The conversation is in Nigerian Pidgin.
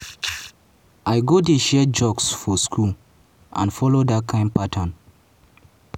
"i go dey share jokes for school and follow dat kain pattern.